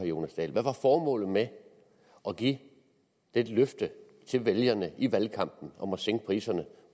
jonas dahl hvad var formålet med at give et løfte til vælgerne i valgkampen om at sænke priserne